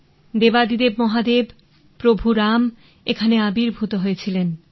দেবাদিদেব মহাদেব প্রভু রাম এখানে আবির্ভূত হয়েছিলেন